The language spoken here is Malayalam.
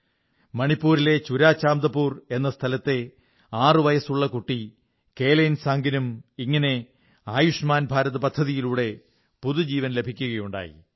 മണിപ്പൂരിലെ ചുരാചാംദപുർ എന്ന സ്ഥലത്തെ ആറുവയസ്സുള്ള കുട്ടി കേലേൻസാംഗിനും ഇങ്ങനെ ആയുഷ്മാൻ ഭാരത് പദ്ധതിയിലൂടെ പുതുജീവൻ ലഭിക്കുകയുണ്ടായി